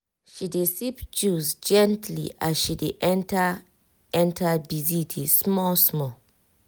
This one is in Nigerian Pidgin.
she dey sip juice gently as she dey enter enter busy day small small.